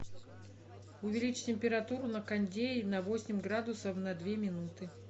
увеличь температуру на кондее на восемь градусов на две минуты